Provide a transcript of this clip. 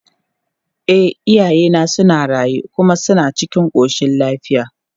E, iyayena suna raye kuma suna cikin ƙoshin lafiya.